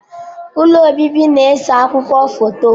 Ụlọ obibi na ese akwụkwọ foto